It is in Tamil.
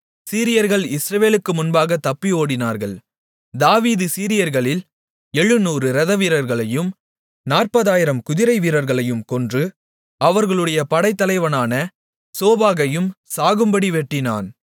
சீரியர்கள் இஸ்ரவேலுக்கு முன்பாக தப்பி ஓடினார்கள் தாவீது சீரியர்களில் 700 இரதவீரர்களையும் 40000 குதிரைவீரர்களையும் கொன்று அவர்களுடைய படைத்தலைவனான சோபாகையும் சாகும்படி வெட்டிப்போட்டான்